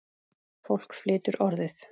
Fólk flytur Orðið.